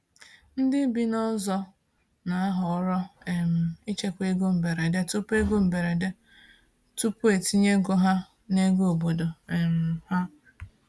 Ndị bi n’ọzọ na-ahọrọ um ichekwa ego mgberede tupu ego mgberede tupu etinye ego ha n’ego obodo um ha.